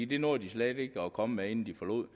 det nåede de slet ikke at komme med inden de forlod